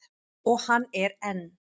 Og hann er enn.